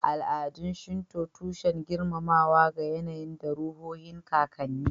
Al'adun Shinto, tushen girmamawa ga yAnayi da ruhohin kakanni